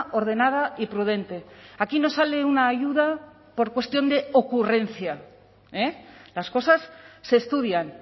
ordenada y prudente aquí no sale una ayuda por cuestión de ocurrencia las cosas se estudian